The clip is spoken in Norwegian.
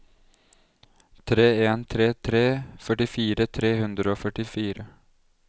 tre en tre tre førtifire tre hundre og førtifire